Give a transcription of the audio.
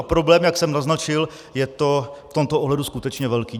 A problém, jak jsem naznačil, je to v tomto ohledu skutečně velký.